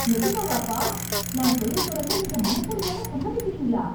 நிஜமாவா அப்பா, நான் தொழில் தொடங்க நீங்க மனப்பூர்வமா சம்மதிக்கிறீங்களா.